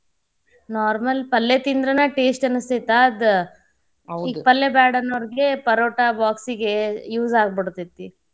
Normal ಪಲ್ಲೇ ತಿಂದ್ರನ taste ಅನಸ್ತೇತಿ ಅದ ಈಗ ಪಲ್ಲೇ ಬ್ಯಾಡ ಅನೋರ್ಗೆ ಪರೋಟಾ box ಗೆ use ಆಗಿ ಬಿಡ್ತೈತಿ.